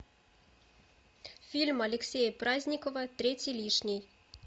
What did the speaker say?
фильм алексея праздникова третий лишний